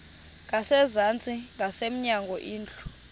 ngasezantsi ngasemnyango indlu